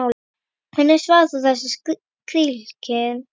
Hvernig svarar þú þessari krítík?